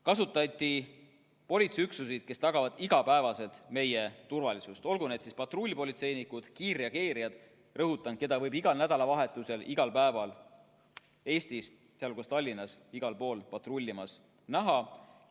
Kasutati politseiüksuseid, kes tagavad iga päev meie turvalisust, olgu need siis patrullpolitseinikud või kiirreageerijad, keda võib, rõhutan, igal nädalavahetusel, igal päeval Eestis, sealhulgas Tallinnas, patrullimas näha.